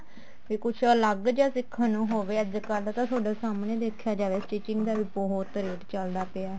ਤੇ ਕੁੱਝ ਅਲੱਗ ਜਾ ਸਿੱਖਣ ਨੂੰ ਹੋਵੇ ਅੱਜਕਲ ਤਾਂ ਤੁਹਾਡੇ ਸਾਹਮਣੇ ਜੇ ਦੇਖਿਆ ਜਾਵੇ ਤਾਂ stitching ਦਾ ਬਹੁਤ ਰੇਟ ਚੱਲਦਾ ਪਿਆ